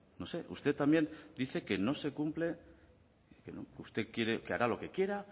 no sé usted también dice que no se cumple usted quiere que haga lo que quiera